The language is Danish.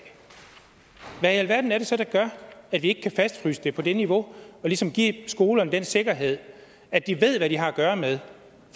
hvad i alverden er det så der gør at vi ikke kan fastfryse det på det niveau og ligesom give skolerne den sikkerhed at de ved hvad de har at gøre med